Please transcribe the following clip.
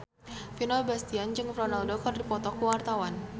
Vino Bastian jeung Ronaldo keur dipoto ku wartawan